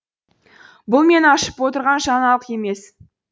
бұл мен ашып отырған жаңалық емес